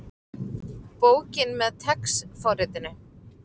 Bókin með TeX forritinu.